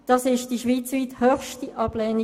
Das war die schweizweit höchste Ablehnung.